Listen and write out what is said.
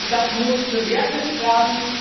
Das muss bewertet werden.